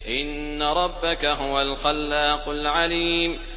إِنَّ رَبَّكَ هُوَ الْخَلَّاقُ الْعَلِيمُ